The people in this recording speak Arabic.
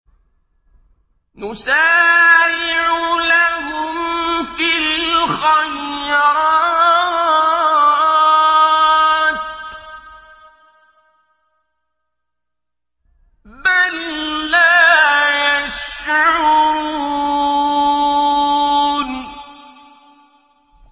نُسَارِعُ لَهُمْ فِي الْخَيْرَاتِ ۚ بَل لَّا يَشْعُرُونَ